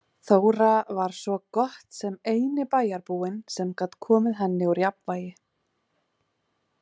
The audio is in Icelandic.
Þóra var svo gott sem eini bæjarbúinn sem gat komið henni úr jafnvægi.